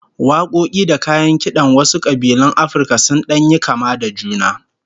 Wakoki da kayan kidan wasu kabilun Afirka sun dan yi kama da juna